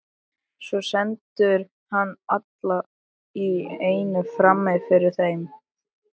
Svo stendur hann allt í einu frammi fyrir þeim.